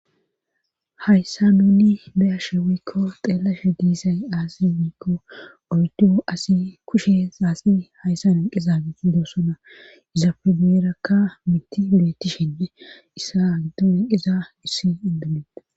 hayssa nunni beyashe woykko xeelashe diisay aasi miikko oydu asi kushe aasi hayssa nen qiza giti doosona izapfe bierakka miti biletishenne issa giddo enqiza issi indinieda